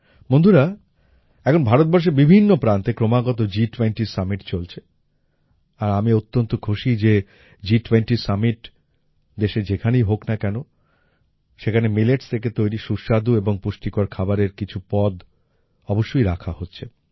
বন্ধুরা এখন ভারতবর্ষের বিভিন্ন প্রান্তে ক্রমাগত G20 সামিট চলছে আর আমি অত্যন্ত খুশী যে G20 সামিট দেশের যেখানেই হোক না কেন সেখানে মিলেটস থেকে তৈরী সুস্বাদু এবং পুষ্টিকর খাবারের কিছু পদ অবশ্যই রাখা হচ্ছে